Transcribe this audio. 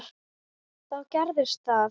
Þá gerðist það.